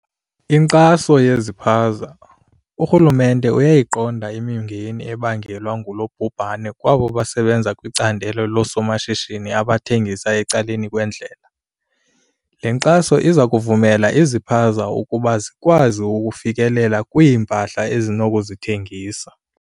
Inkxaso yezipaza. Urhulumente uyayiqonda imingeni ebangelwa ngulo bhubhane kwabo basebenza kwicandelo loosomashishini abathengisa ecaleni kwendlela. Le nkxaso iza kuvumela izipaza ukuba zikwazi ukufikelela kwiimpahla ezinokuzithengisa.